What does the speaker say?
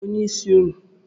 Onye bụ onyeisi ụnụ?